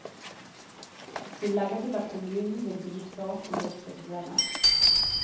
Hun legger til at kommunen vil bistå om det oppstår problemer.